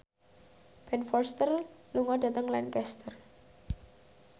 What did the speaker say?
Ben Foster lunga dhateng Lancaster